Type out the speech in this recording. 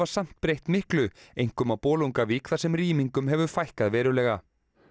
samt breytt miklu einkum í Bolungarvík þar sem rýmingum hefur fækkað verulega